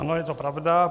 Ano, je to pravda.